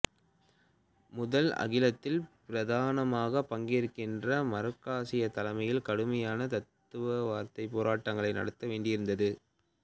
முதல் அகிலத்தில் பிரதானமாக பங்கேற்ற மார்க்சிய தலைமை கடுமையான தத்துவார்த்தப் போராட்டங்களை நடத்த வேண்டியிருந்தது